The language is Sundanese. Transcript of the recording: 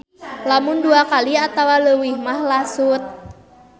Lamun dua kali atawa leuwih mah lasut.